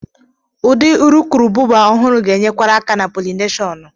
Ụdị urukurubụba ọhụrụ ga-enyekwara aka na polineshọnụ